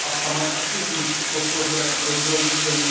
a sama je aktivní v podpoře rozvojových zemí.